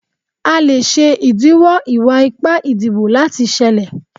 A le ṣe idiwọ iwa-ipa idibo lati ṣẹlẹ